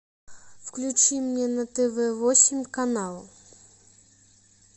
включи мне на тв восемь канал